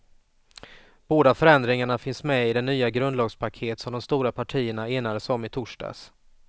Båda förändringarna finns med i det nya grundlagspaket som de stora partierna enades om i torsdags.